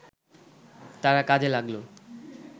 তারা কাজে লাগল